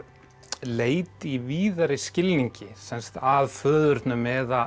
leit í víðari skilningi sem sagt að föðurnum eða